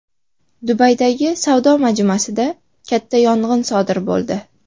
Dubaydagi savdo majmuasida katta yong‘in sodir bo‘ldi.